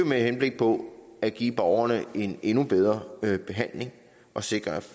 med henblik på at give borgerne en endnu bedre behandling og sikre at